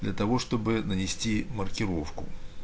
для того чтобы нанести маркировку